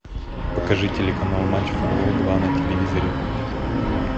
покажи телеканал матч футбол два на телевизоре